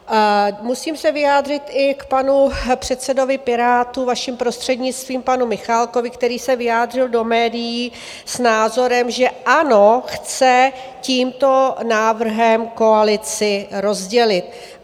Musím se vyjádřit i k panu předsedovi Pirátů, vaším prostřednictvím, panu Michálkovi, který se vyjádřil do médií s názorem, že ANO chce tímto návrhem koalici rozdělit.